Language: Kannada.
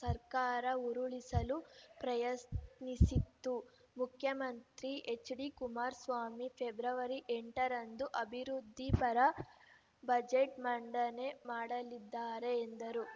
ಸರ್ಕಾರ ಉರುಳಿಸಲು ಪ್ರಯಸ್ನಿತ್ತು ಮುಖ್ಯಮಂತ್ರಿ ಎಚ್‌ಡಿ ಕುಮಾರಸ್ವಾಮಿ ಫೆ ಎಂಟರಂದು ಅಭಿವೃದ್ಧಿ ಪರ ಬಜೆಟ್‌ ಮಂಡನೆ ಮಾಡಲಿದ್ದಾರೆ ಎಂದರು